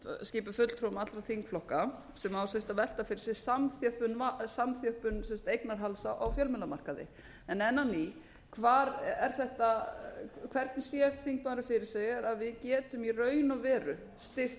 skipuð fulltrúum allra þingflokka sem hefði þurft að velta fyrir sér samþjöppun eignarhalds á fjölmiðlamarkaði en enn á ný hvar sér þingmaðurinn fyrir sér að við getum í raun og veru styrkt